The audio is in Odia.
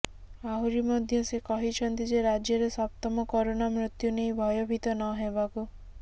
ଆହୁରି ମଧ୍ୟ ସେ କହିଛନ୍ତି ଯେ ରାଜ୍ୟରେ ସପ୍ତମ କରୋନା ମୃତ୍ୟୁ ନେଇ ଭୟଭୀତ ନହେବାକୁ